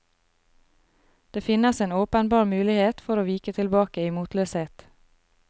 Det finnes en åpenbar mulighet for å vike tilbake i motløshet.